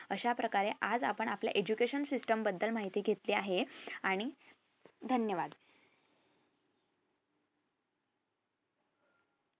अश्याप्रकारे आज आपण आपल्या education system बद्दल माहिती घेतली आहे आणि धन्यवाद